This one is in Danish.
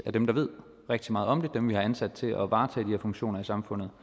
dem der ved rigtig meget om det som vi har ansat til at varetage de her funktioner i samfundet